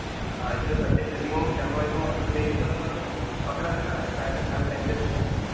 हो, इथे सध्या ट्रेनिंग चालू आहे तर मला सध्या इथं अकरा देणार हाय. राहायला, खाणं, त्यांच्याचकडे आहे.